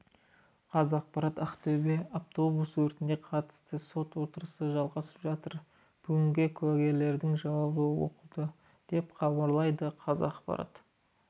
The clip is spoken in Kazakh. қазақпарат ақтөбе автобус өртіне қатысты сот отырысы жалғасып жатыр бүгінге куәгерлердің жауабы оқылды деп хабарлайды қазақпарат